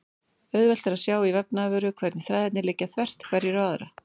Auðvelt er að sjá í vefnaðarvöru hvernig þræðirnir liggja þvert hverjir á aðra.